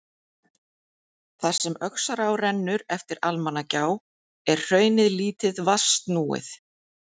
Þar sem Öxará rennur eftir Almannagjá er hraunið lítið vatnsnúið.